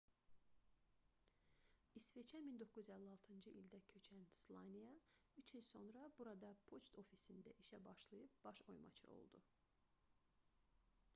i̇sveçə 1956-cı ildə köçən slaniya üç il sonra burada poçt ofisində işə başlayıb baş oymaçı oldu